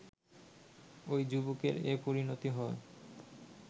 ওই যুবকের এ পরিণত হয়